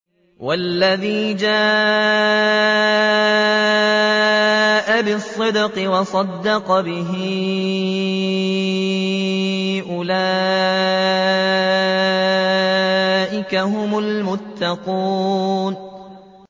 وَالَّذِي جَاءَ بِالصِّدْقِ وَصَدَّقَ بِهِ ۙ أُولَٰئِكَ هُمُ الْمُتَّقُونَ